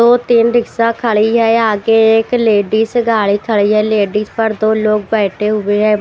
दो तीन रिक्शा खड़ी है आगे एक लेडिस गाड़ी खड़ी है लेडिस पर दो लोग बैठे हुए है।